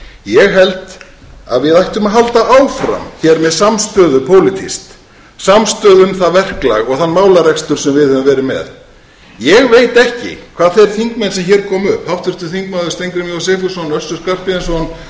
ég held að við ættum að halda áfram hér með samstöðu pólitískt samstöðu um það verklag og þann málarekstur sem við höfum verið með ég veit ekki hvað þeir þingmenn sem hér komu upp háttvirtir þingmenn steingrímur j sigfússon össur skarphéðinsson og árni